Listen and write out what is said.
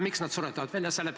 Miks nad suretavad välja?